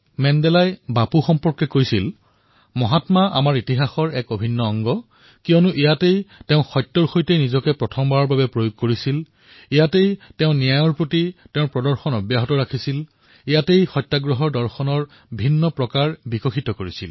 মেণ্ডেলাই বাপুৰ বিষয়ে এইদৰে কৈছিল মহাত্মা আমাৰ ইতিহাসৰ এক অভিন্ন অংগ কাৰণ ইয়াতেই তেওঁ সত্যৰ সৈতে নিজৰ প্ৰথমটো পৰীক্ষণ কৰিছিল ইয়াতেই তেওঁ ন্যায়ৰ প্ৰতি নিজৰ দৃঢ়তা প্ৰদৰ্শন কৰিছিল ইয়াতেই তেওঁ নিজৰ সত্যাগ্ৰহৰ দৰ্শন আৰু সংঘৰ্ষৰ প্ৰক্ৰিয়া বিকশিত কৰিছিল